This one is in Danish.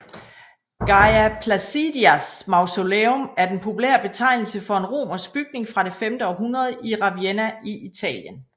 Galla Placidias mausoleum er den populære betegnelse for en romersk bygning fra det femte århundrede i Ravenna i Italien